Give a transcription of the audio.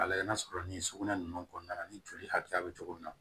A layɛ n'a sɔrɔ ni sugunɛ ninnu kɔnɔna na ni joli hakɛya be cogo min na